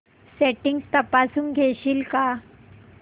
settings तपासून घेशील का